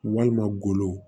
Walima golo